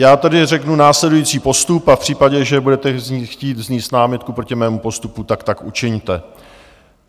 Já tedy řeknu následující postup a v případě, že budete chtít vznést námitku proti mému postupu, tak tak učiňte.